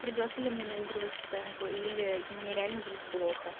придётся ли мне наигрывать сценку или мне реально будет плохо